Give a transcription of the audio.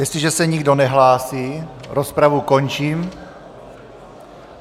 Jestliže se nikdo nehlásí, rozpravu končím.